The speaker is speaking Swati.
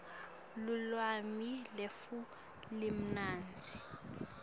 lulwimi lwetfu lumnandzi